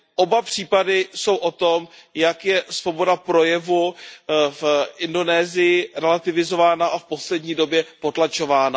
Oba případy jsou o tom, jak je svoboda projevu v Indonésii relativizována a v poslední době potlačována.